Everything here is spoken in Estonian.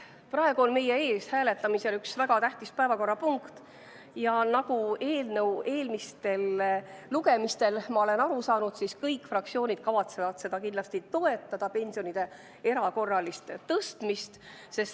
Praegu on meie ees hääletamisel üks väga tähtis päevakorrapunkt ja nagu ma olen eelnõu eelmistel lugemistel aru saanud, kõik fraktsioonid kavatsevad kindlasti toetada pensionide erakorralist tõstmist.